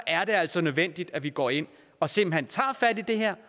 er det altså nødvendigt at vi går ind og simpelt hen tager fat i det her